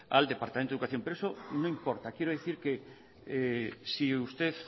al departamento de educación pero eso no importa quiero decir que si usted